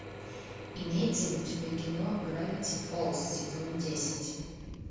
имеется ли у тебя кино гравити фолз сезон десять